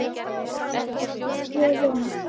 Það hefur alltaf hrifið mig.